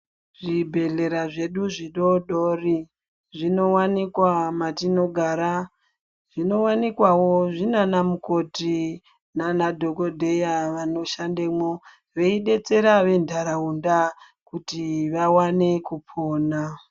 Zvibhedhlera zvedu zvidodori zvinowanikwa matinogara, zvinowanikwawo zvinana mukoti nana dhokodheya vanoshandemwo veidetsera ventaraunda kuti vaone kupona.